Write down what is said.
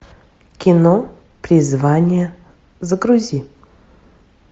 кино призвание загрузи